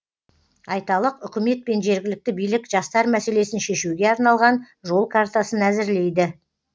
айталық үкімет пен жергілікті билік жастар мәселесін шешуге арналған жол картасын әзірлейді